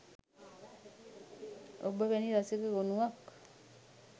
ඔබ වැනි රසික ගොනුවක්